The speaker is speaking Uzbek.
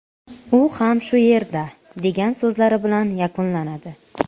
U ham shu yerda”, degan so‘zlari bilan yakunlanadi.